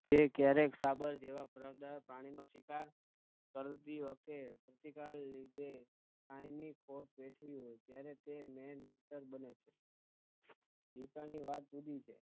કે ક્યારેક સાબર જેવા દળદાર પ્રાણીનો શિકાર કરતી વખતે કાયમી કોટ વેઠવી હોય ત્યારે તે બને છે